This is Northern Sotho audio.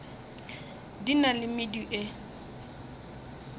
di na le medu e